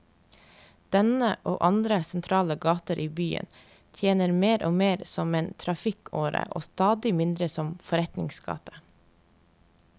Denne, og andre sentrale gater i byen, tjente mer og mer som en trafikkåre og stadig mindre som forretningsgate.